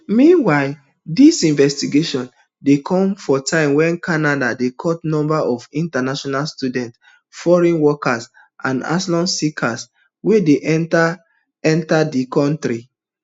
meanwhile dis investigation dey come for time wen canada dey cut numbers of international students foreign workers and asylum seekers wey dey enta enta di kontri